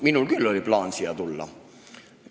Minul oli küll plaanis siia tulla.